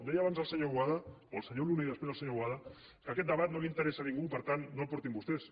deia abans el senyor boada o el senyor luna i després el senyor boada que aquest debat no li interessa a ningú per tant no el portin vostès